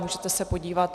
Můžete se podívat.